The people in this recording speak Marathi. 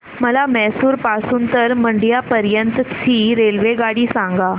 मला म्हैसूर पासून तर मंड्या पर्यंत ची रेल्वेगाडी सांगा